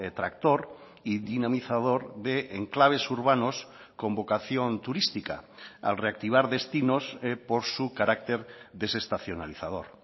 tractor y dinamizador de enclaves urbanos con vocación turística al reactivar destinos por su carácter desestacionalizador